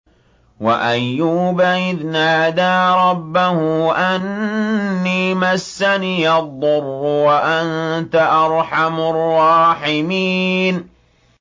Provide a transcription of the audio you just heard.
۞ وَأَيُّوبَ إِذْ نَادَىٰ رَبَّهُ أَنِّي مَسَّنِيَ الضُّرُّ وَأَنتَ أَرْحَمُ الرَّاحِمِينَ